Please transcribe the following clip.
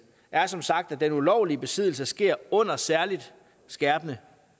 er som sagt at den ulovlige besiddelse sker under særligt skærpende